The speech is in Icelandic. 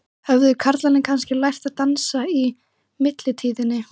Skástrikinu og Leikni Hver var átrúnaðargoð þitt á yngri árum?